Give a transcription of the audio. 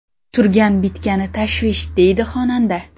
Turgan-bitgani tashvish”, deydi xonanda.